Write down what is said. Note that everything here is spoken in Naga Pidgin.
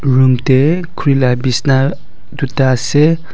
room dae kurila bisna toita asae.